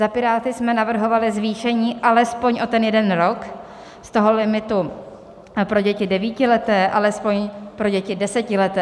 Za Piráty jsme navrhovali zvýšení alespoň o ten jeden rok z toho limitu pro děti devítileté alespoň pro děti desetileté.